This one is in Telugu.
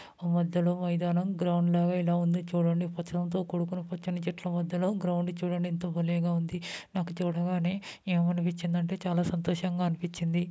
మధ్యలో మైదానం గ్రౌండ్ లో ఎదో ఉంది చుడండి. ప్రశాంతతో కూడిన పచ్చని చెట్లు మధ్యలో గ్రౌండ్ ని చూడండి ఎంత బలేగా ఉంది. నాకు చూడగానే ఏమనిపించిందంటే చాలా సంతోషంగా అనిపించింది.